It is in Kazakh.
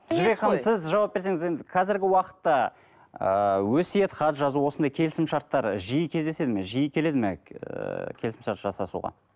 жібек ханым сіз жауап берсеңіз енді қазіргі уақытта ыыы өсиет хат жазу осындай келісімшарттар жиі кездеседі ме жиі келеді ме ыыы келісімшарт жасасуға